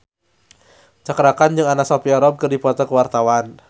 Cakra Khan jeung Anna Sophia Robb keur dipoto ku wartawan